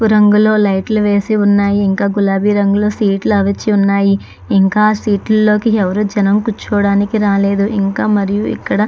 పసుపు రంగులో ఉన్నాయ్. ఇంకా గులాబీ రంగులో కుర్చీలు వాల్చి ఉన్నాయ్. ఇంకా ఆ సీట్లో కూర్చోడానికి జనాలు రాలేదు. ఇంకా మరి ఇక్కడ --